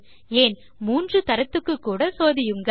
ஏன் மூன்று தரத்துக்குக்கூட சோதியுங்கள்